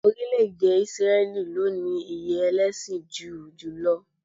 Orílẹ̀-èdè Ísírẹ́lì ló ní iye ẹlẹ́sìn júù jùlọ